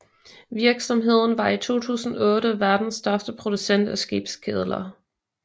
Virksomheden var i 2008 verdens største producent af skibskedler